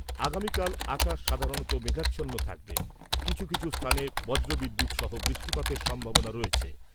আগামীকাল আকাশ সাধারণত মেঘাচ্ছন্ন থাকবে৷ কিছু কিছু স্থানে বজ্র বিদ্যুৎ সহ বৃষ্টিপাতের সম্ভাবনা রয়েছে।